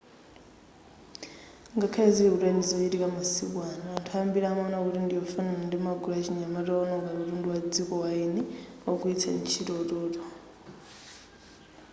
ngakhale zili kutali ndi zochitika masiku ano anthu ambiri amaona kuti ndiyofanana ndi magulu achinyamata owononga katundu wa dziko ndi waeni pogwilitsa ntchito utoto